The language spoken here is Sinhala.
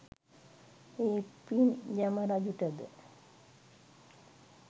ඒ පින් යම රජුට ද